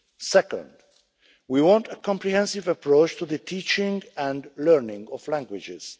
Second, we want a comprehensive approach to the teaching and learning of languages.